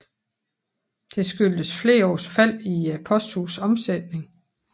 Det skyldtes flere års fald i posthusets omsætning